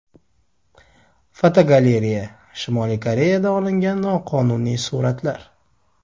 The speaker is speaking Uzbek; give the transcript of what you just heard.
Fotogalereya: Shimoliy Koreyada olingan noqonuniy suratlar.